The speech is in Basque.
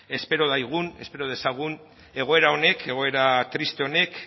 espero dezagun egoera honek egoera triste honek